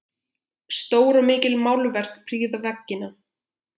Stór og mikil málverk prýða veggina.